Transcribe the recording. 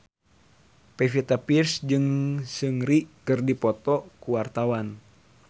Pevita Pearce jeung Seungri keur dipoto ku wartawan